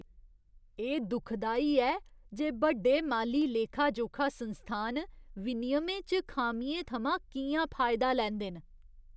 एह् दुखदाई ऐ जे बड्डे माली लेखा जोखा संस्थान विनियमें च खामियें थमां कि'यां फायदा लैंदे न।